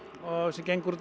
gengur út á